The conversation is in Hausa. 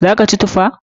Za ka ci tufa?